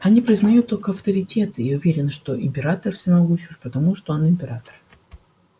они признают только авторитеты и уверены что император всемогущ уже потому что он император